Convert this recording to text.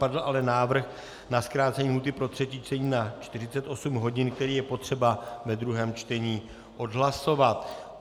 Padl ale návrh na zkrácení lhůty pro třetí čtení na 48 hodin, který je potřeba ve druhém čtení odhlasovat.